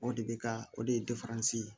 O de bɛ ka o de ye ye